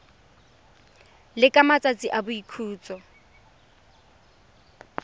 le ka matsatsi a boikhutso